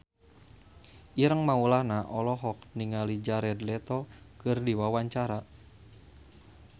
Ireng Maulana olohok ningali Jared Leto keur diwawancara